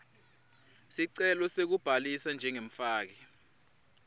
sicelo sekubhalisa njengemfaki